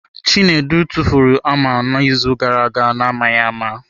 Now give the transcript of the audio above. Chinedu tụfuru hama n'izu gara aga na-amaghị ama.